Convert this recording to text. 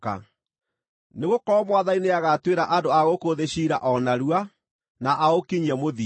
Nĩgũkorwo Mwathani nĩagatuĩra andũ a gũkũ thĩ ciira o narua, na aũkinyie mũthia.”